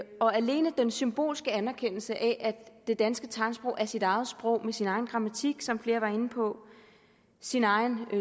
og alene den symbolske anerkendelse af at det danske tegnsprog er sit eget sprog med sin egen grammatik som flere var inde på sin egen